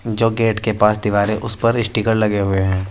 जो गेट के पास दीवार है उसपर स्टिकर लगे हुएं हैं।